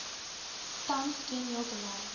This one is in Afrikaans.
tans ken heeltemal